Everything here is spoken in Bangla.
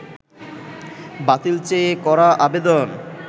বাতিল চেয়ে করা আবেদন